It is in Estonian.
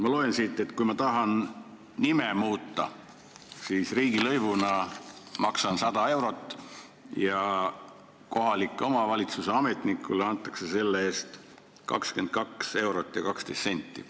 Ma loen siit, et kui ma tahan nime muuta, siis maksan riigilõivuna 100 eurot ja kohaliku omavalitsuse ametnikule antakse selle eest 22 eurot ja 12 senti.